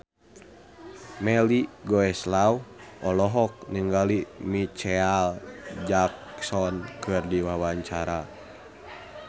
Melly Goeslaw olohok ningali Micheal Jackson keur diwawancara